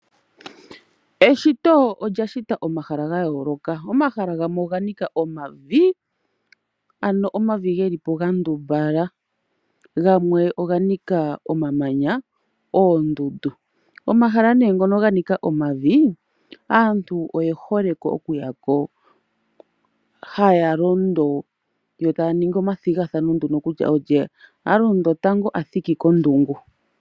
Eshito olya shita omahala ga yooloka, omahala gamwe oga nika omavi, ano omavi ge li po ga ndumbala. Gamwe oga nika omamanya, oondundu. Omahala ngoka ga nika omavi aantu oye hole okuya ko, haya londo yo taya ningi omathigathano nduno kutya olye a thiki kondungu tango.